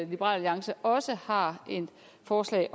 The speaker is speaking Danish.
liberal alliance også har et forslag